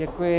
Děkuji.